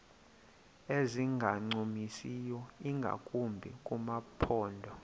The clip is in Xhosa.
ezingancumisiyo ingakumbi kumaphondo